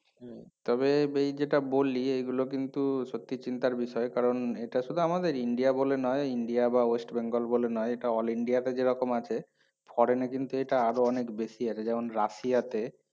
তবে এই যেটা বললি এগুলো কিন্তু সত্যিই চিন্তার বিষয় কারণ এটা শুধু আমাদের ইন্ডিয়া বলে নয় ইন্ডিয়া বা ওয়েস্ট বেঙ্গল নয় এটা all ইন্ডিয়াতে যেরকম আছে foreign এ কিন্তু এটা আরো অনেক বেশি আছে যেমন রাশিয়াতে